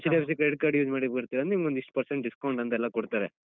HDFC Credit Card use ಮಾಡ್ಲಿಕ್ಕೆ ಬರ್ತಿರಾ ಅಂದ್ರೆ ನಿಮ್ಗೊಂದ್‌ ಇಷ್ಟು percent discount ಅಂತೆಲ್ಲ ಕೊಡ್ತಾರೆ.